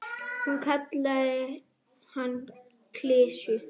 Hún kallaði hann klisju.